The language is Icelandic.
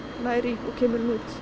nær í og kemur henni út